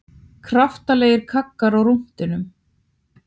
Kraftalegir kaggar á rúntinn